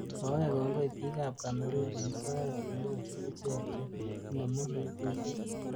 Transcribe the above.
Kowech kongoi bik ab Cameroon eng Soet komwachi ichek che inemu mivishek.